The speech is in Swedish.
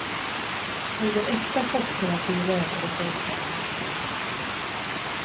Någon äkta chockterapi rörde det sig inte om. punkt